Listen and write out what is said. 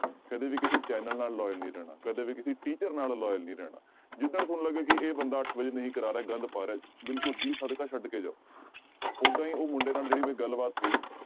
ਕਦੇ ਵੀ ਕਿਸੇ ਚੈਨਲ ਨਾਲ loyal ਨੀ ਰਹਿਣਾ ਕਦੇ ਵੀ ਕਿਸੇ teacher ਨਾਲ loyal ਨੀ ਰਹਿਣਾ ਜਿੱਦਣ ਤੁਹਾਨੂੰ ਲੱਗੇ ਕਿ ਇਹ ਬੰਦਾ ਅੱਠ ਵਜੇ ਨਹੀਂ ਕਰਾ ਰਿਹਾ ਗੰਦ ਪਾ ਰਿਹਾ ਬਿਲਕੁਲ ਜੀ ਸਦਕਾ ਛੱਡ ਕੇ ਜਾਓ, ਓਦਾਂ ਹੀ ਉਹ ਮੁੰਡੇ ਨਾਲ ਜਿਹੜੀ ਮੇਰੀ ਗੱਲਬਾਤ ਹੋਈ